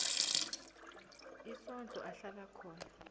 isondlo ahlala khona